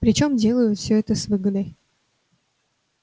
причём делают всё это с выгодой